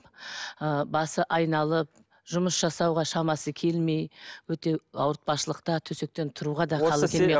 ы басы айналып жұмыс жасауға шамасы келмей өте ауытпашылықта төсектен тұруға да халі келмей